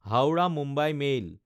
Howrah-Mumbai mail